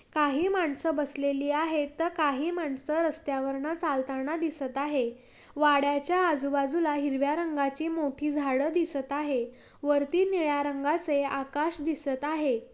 काही माणसं बसलेली आहेत त काही माणसं रस्त्यावरन चालताना दिसत आहे वाड्याच्या आजूबाजूला हिरव्या रंगाची मोठी झाडं दिसत आहे वरती निळ्या रंगाचे आकाश दिसत आहे.